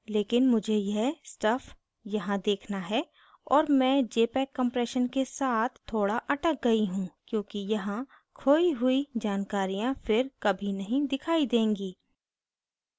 लेकिन मुझे यह stuff यहाँ देखना है और मैं jpeg compression के साथ थोड़ा अटक गयी हूँ क्योंकि यहां खोई हुई जानकारियाँ फिर कभी नहीं दिखाई देंगी